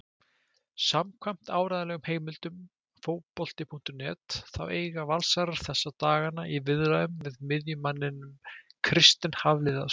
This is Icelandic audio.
Samkvæmt áreiðanlegum heimildum Fótbolti.net þá eiga Valsarar þessa dagana í viðræðum við miðjumanninn Kristinn Hafliðason.